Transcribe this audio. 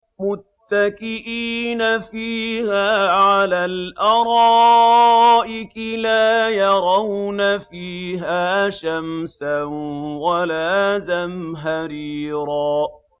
مُّتَّكِئِينَ فِيهَا عَلَى الْأَرَائِكِ ۖ لَا يَرَوْنَ فِيهَا شَمْسًا وَلَا زَمْهَرِيرًا